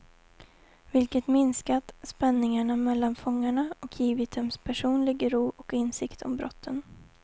Vilket minskat spänningarna mellan fångarna, och givit dem personlig ro och insikt om brotten.